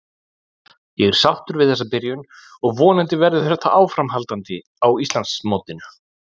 Ég er sáttur við þessa byrjun og vonandi verður þetta áframhaldandi á Íslandsmótinu.